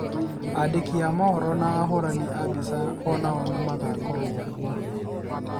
Aandĩki a mohoro na ahũrani a mbica o nao nĩ magakorũo kuo.